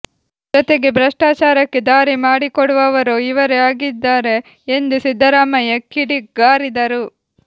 ಜೊತೆಗೆ ಭ್ರಷ್ಟಾಚಾರಕ್ಕೆ ದಾರಿ ಮಾಡಿಕೊಡುವವರೂ ಇವರೇ ಆಗಿದ್ದಾರೆ ಎಂದು ಸಿದ್ದರಾಮಯ್ಯ ಕಿಡಿಗಾರಿದರು